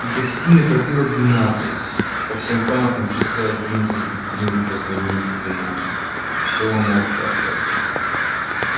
в гостиной пробило двенадцать по всем комнатам часы один за другими позвонили в двенадцать и всё умолкло опять